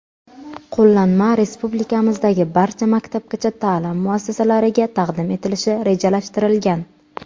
Qo‘llanma respublikamizdagi barcha maktabgacha ta’lim muassasalariga taqdim etilishi rejalashtirilgan.